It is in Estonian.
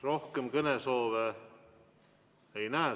Rohkem kõnesoove ei näe.